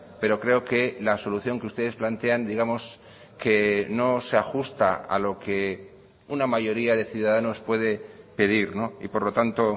pero creo que la solución que ustedes plantean digamos que no se ajusta a lo que una mayoría de ciudadanos puede pedir y por lo tanto